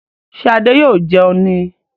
Ṣé Adé yóò jẹun ní